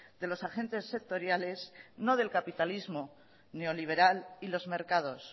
de los agentes sectoriales no del capitalismo neoliberal y los mercados